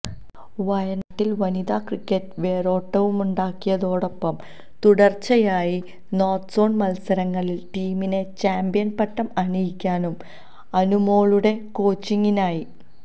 വയനാട്ടില് വനിതാ ക്രിക്കറ്റിന് വേരോട്ടമുണ്ടാക്കിയതോടൊപ്പം തുടര്ച്ചയായി നോര്ത്ത്സോണ് മത്സരങ്ങളില് ടീമിനെ ചാംപ്യന്പട്ടം അണിയിക്കാനും അനുമോളുടെ കോച്ചിങിനായി